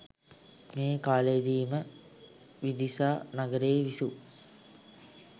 මේ කාලයේදී ම විදිසා නගරයේ විසූ